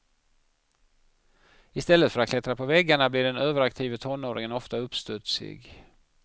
I stället för att klättra på väggarna blir den överaktive tonåringen ofta uppstudsig.